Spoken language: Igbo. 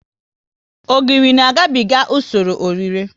Ogiri na ga biga usoro ọ rire